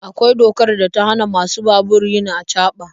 Akwai dokar da ta hana masu babur yin acaba.